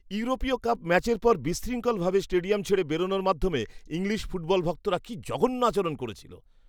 ইউরোপীয় কাপ ম্যাচের পর বিশৃঙ্খল ভাবে স্টেডিয়াম ছেড়ে বেরনোর মাধ্যমে ইংলিশ ফুটবল ভক্তরা কী জঘন্য আচরণ করেছিল!